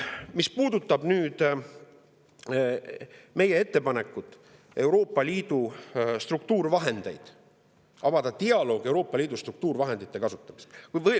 Meil on ettepanek Euroopa Liidu struktuurivahendite kohta, selle kohta, et avada dialoog Euroopa Liidu struktuurivahendite kasutamiseks.